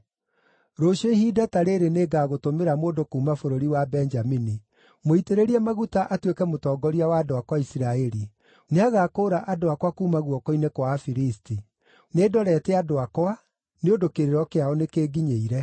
“Rũciũ ihinda ta rĩrĩ nĩngagũtũmĩra mũndũ kuuma bũrũri wa Benjamini. Mũitĩrĩrie maguta atuĩke mũtongoria wa andũ akwa a Isiraeli; nĩagakũũra andũ akwa kuuma guoko-inĩ kwa Afilisti. Nĩndorete andũ akwa, nĩ ũndũ kĩrĩro kĩao nĩkĩnginyĩire.”